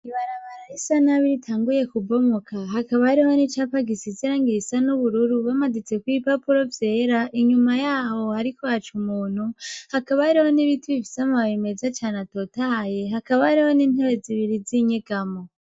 Ibarabara risa nabi ritanguye kubomoka, hakaba hariho nicapa gisa n'ubururu bamaditseko kw'ibipapuro vyera, inyuma yaho hariko haca umuntu, hakaba hariho n'ibiti bifise amababi meza cane atotahaye, hakaba hariho n'intebe zibiri z'inyegamo